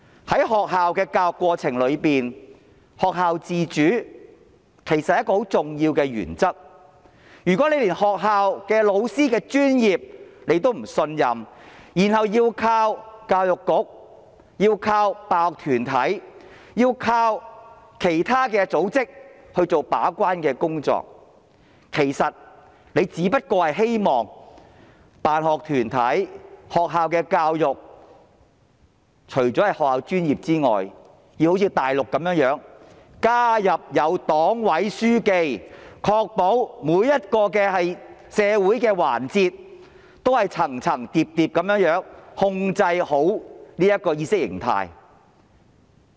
在學校的教育過程中，學校自主是很重要的原則，如果她連學校老師的專業也不信任，然後要靠教育局、辦學團體或其他組織做把關工作，其實她只不過是希望辦學團體和學校的教育，在學校專業以外要像內地般加入黨委書記，以確保在社會上每一個環節，政府都能夠層層疊疊地控制着意識形態。